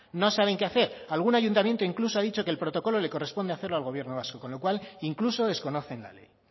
no saben qué hacer algún ayuntamiento incluso ha dicho que el protocolo le corresponde hacerlo al gobierno vasco con lo cual incluso desconocen la ley